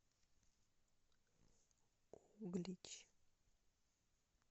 углич